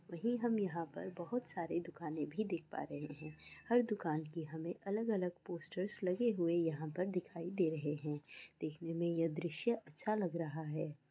वहीं हम यहाँ पर बहुत सारी दुकाने भी देख पा रहे हैं। हर दुकान की हमें अलग-अलग पोस्टर्स लगे हुए यहाँ पर दिखाई रहे हैं। देखने में यह दृश्य अच्छा लग रहा है।